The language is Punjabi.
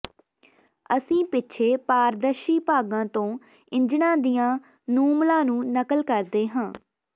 ਅਸੀਂ ਪਿੱਛੇ ਪਾਰਦਰਸ਼ੀ ਭਾਗਾਂ ਤੋਂ ਇੰਜਣਾਂ ਦੀਆਂ ਨੂਮਲਾਂ ਨੂੰ ਨਕਲ ਕਰਦੇ ਹਾਂ